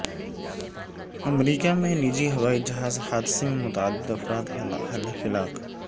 امریکہ میں نجی ہوائی جہاز حادثے میں متعدد افراد ہلاک